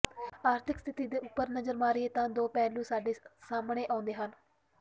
ਆਰਥਿਕ ਸਥਿਤੀ ਦੇ ਉੱਪਰ ਨਜ਼ਰ ਮਾਰੀਏ ਤਾਂ ਦੋ ਪਹਿਲੂ ਸਾਡੇ ਸਾਹਮਣੇ ਆਉਂਦੇ ਹਨ